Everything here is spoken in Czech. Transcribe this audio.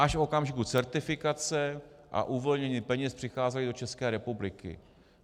Až v okamžiku certifikace a uvolnění peněz přicházely do České republiky.